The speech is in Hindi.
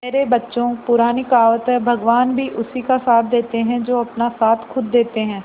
मेरे बच्चों पुरानी कहावत है भगवान भी उसी का साथ देते है जो अपना साथ खुद देते है